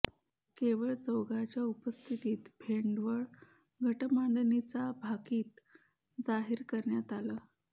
केवळ चौघांच्या उपस्थितीत भेंडवळ घटमांडणीचं भाकीत जाहीर करण्यात आलं